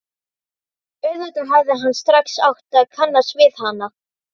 Auðvitað hefði hann strax átt að kannast við hana.